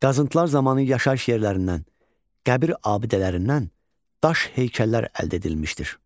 Qazıntılar zamanı yaşayış yerlərindən, qəbir abidələrindən daş heykəllər əldə edilmişdir.